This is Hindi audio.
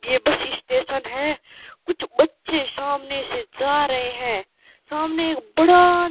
ये बस स्टेशन है कुछ बच्चे सामने से जा रहे हैं सामने एक बड़ा--